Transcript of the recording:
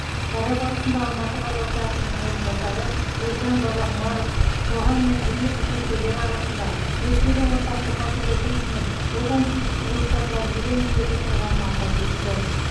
шара барысында алматы қаласы әкімінің орынбасары ержан бабақұмаров қоғам мен діни қызметкерлер арасында өскелең ұрпақты патриотизм мен отансүйгіштік рухта тәрбиелеу міндеті тұрғанын атап өтті